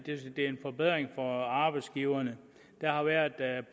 forbedring for arbejdsgiverne der har været